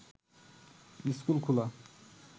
school খোলা